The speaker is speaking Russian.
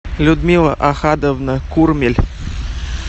людмила ахадовна курмель